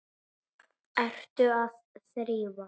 Ertu að þrífa?